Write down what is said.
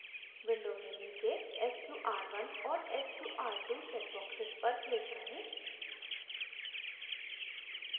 window में नीचे sqr1 और sqr2 checkboxes पर click करें